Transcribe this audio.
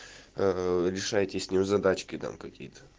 решайте с ним задачки там какие то